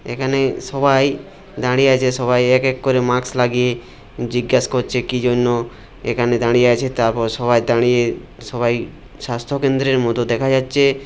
এখানে সবাই দাঁড়িয়ে আছে সবাই এক এক করে মাস্ক লাগিয়ে জিজ্ঞেস করছে কি জন্য এখানে দাঁড়িয়ে আছে তারপর সবাই দাঁড়িয়ে সবাই স্বাস্থ্য কেন্দ্রের মতো দেখা যাচ্ছে --